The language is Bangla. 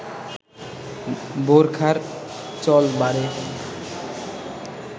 বোরখার চল বাড়ে